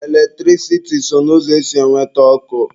Eletrisiti so n'ụzọ esi enweta ọkụ.